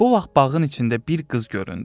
Bu vaxt bağın içində bir qız göründü.